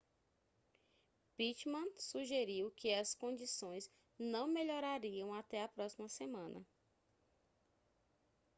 pittman sugeriu que as condições não melhorariam até a próxima semana